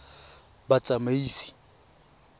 batsamaisi